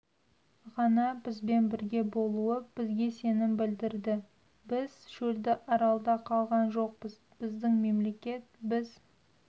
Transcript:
ғана бізбен бірге болуы бізге сенім білдірді біз шөлді аралда қалған жоқпыз біздің мемлекет біз